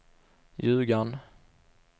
Ljugarn